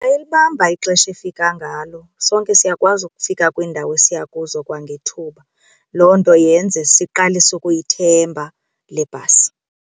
Yayilibamba ixesha efika ngalo sonke siyakwazi ukufika kwiindawo esiya kuzo kwangethuba, loo nto yenze siqalise ukuyithemba le bhasi.